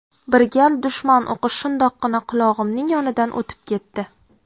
Bir gal dushman o‘qi shundoqqina qulog‘imning yonidan o‘tib ketdi.